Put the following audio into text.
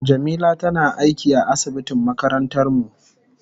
Jamila tana aiki a asibitin makarantar mu.